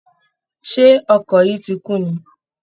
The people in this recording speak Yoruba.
Ṣé ọkọ̀ yín ti kún ni?